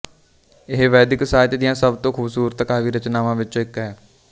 ਇਹ ਵੈਦਿਕ ਸਾਹਿਤ ਦੀਆਂ ਸਭ ਤੋਂ ਖੂਬਸੂਰਤ ਕਾਵਿਰਚਨਾਵਾਂ ਵਿਚੋਂ ਇੱਕ ਹੈ